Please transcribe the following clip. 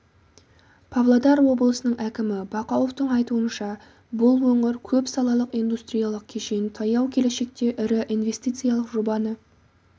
павлодар облысының әкімі бақауовтың айтуынша бұл өңір көп салалық индустриялық кешен таяу келешекте ірі инвестициялық жобаны